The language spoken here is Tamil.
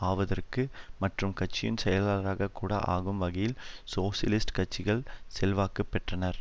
ஆவதற்கு மற்றும் கட்சியின் செயலாளராகக் கூட ஆகும் வகையில் சோசியலிஸ்ட் கட்சியில் செல்வாக்கு பெற்றனர்